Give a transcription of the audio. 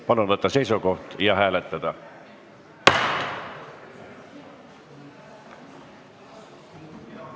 Palun võtta seisukoht ja hääletada!